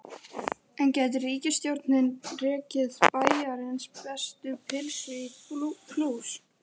En gæti ríkisstjórnin rekið Bæjarins bestu pylsur í plús?